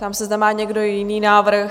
Ptám se, zda má někdo jiný návrh?